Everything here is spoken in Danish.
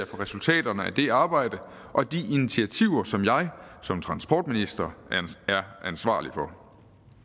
for resultaterne af det arbejde og de initiativer som jeg som transportminister er ansvarlig for